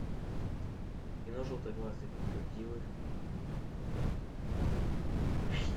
кино желтоглазые крокодилы